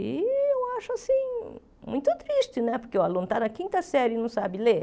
E eu acho assim muito triste né, porque o aluno está na quinta série e não sabe ler.